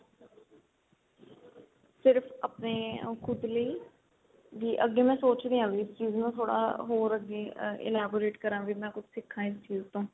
ਸਿਰਫ ਆਪਣੇ ਖੁਦ ਲਈ ਵੀ ਅੱਗੇ ਮੈਂ ਸੋਚ ਰਹੀ ਆ ਵੀ ਇਸ ਚੀਜ ਨੂੰ ਥੋੜਾ ਹੋਰ ਅੱਗੇ elaborate ਕਰਾ ਵੀ ਮੈਂ ਕੁੱਝ ਸਿਖਾ ਇਸ ਚੀਜ ਤੋਂ